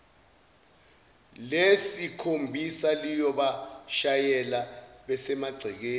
lesikhombisa liyobashayela besemagcekeni